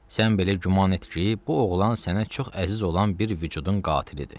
Sən belə güman et ki, bu oğlan sənə çox əziz olan bir vücudun qatilidir.